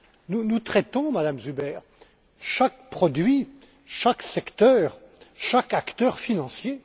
Nous, nous traitons, Madame Zuber, chaque produit, chaque secteur, chaque acteur financier.